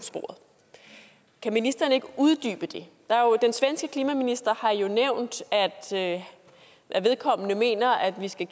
sporet kan ministeren ikke uddybe det den svenske klimaminister har jo nævnt at vedkommende mener at vi skal